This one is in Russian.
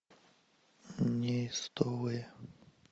неистовые